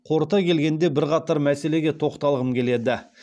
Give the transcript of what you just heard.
қорыта келгенде бірқатар мәселеге тоқталғым келеді